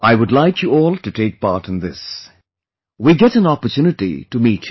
I would like you all to take part in this... will get an opportunity to meet you